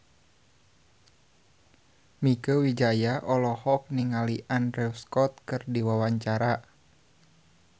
Mieke Wijaya olohok ningali Andrew Scott keur diwawancara